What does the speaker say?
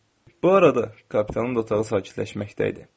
Bu arada kapitanın da otağı sakitləşməkdə idi.